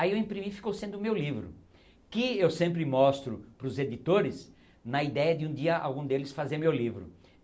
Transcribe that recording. Aí eu imprimi e ficou sendo o meu livro, que eu sempre mostro para os editores na ideia de um dia algum deles fazer meu livro.